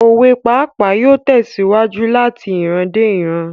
Òwe pípa yóò tèsíwájú lati iran dé ìran